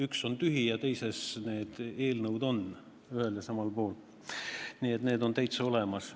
Üks on tühi, aga teises on need eelnõud täitsa olemas.